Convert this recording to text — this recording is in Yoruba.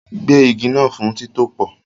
Gbẹ́ igi náà fún títòpò